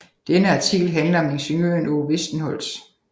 Denne artikel handler om ingeniøren Aage Westenholz